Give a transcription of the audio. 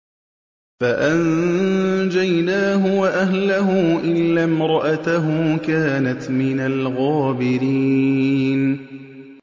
فَأَنجَيْنَاهُ وَأَهْلَهُ إِلَّا امْرَأَتَهُ كَانَتْ مِنَ الْغَابِرِينَ